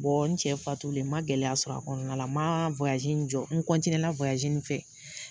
n cɛ fatulen ma gɛlɛya sɔrɔ a kɔnɔna na, ma in jɔ. N a fɛ.